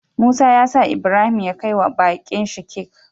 Musa yasa Ibrahim ya kai wa bakin shi cake